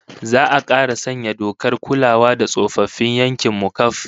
Za'a kara sanya dokar kulawa da tsofaffin yankin mu kaf